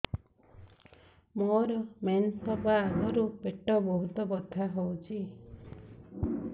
ମୋର ମେନ୍ସେସ ହବା ଆଗରୁ ପେଟ ବହୁତ ବଥା ହଉଚି